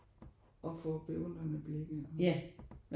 Og få beundrede blikke og